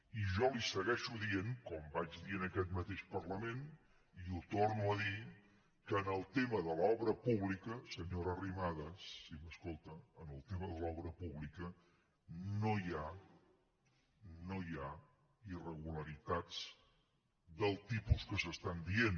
i jo li segueixo dient com vaig dir en aquest mateix parlament i ho torno a dir que en el tema de l’obra pública senyora arrimadas si m’escolta en el tema de l’obra pública no hi ha no hi ha irregularitats del tipus que s’estan dient